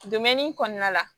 kɔnɔna la